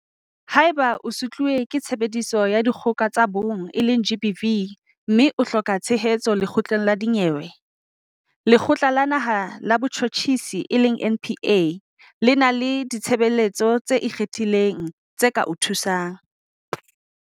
Haeba o sutluwe ke Tshebediso ya Dikgoka ho tsa Bong, GBV, mme o hloka tshehetso lekgotleng la dinyewe, Lekgotla la Naha la Botjhutjhisi, NPA, le na le ditshebeletso tse ikgethileng tse ka o thusang.